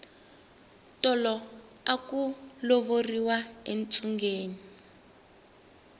tolo aku lovoriwa entsungeni